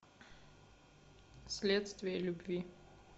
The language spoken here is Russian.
следствие любви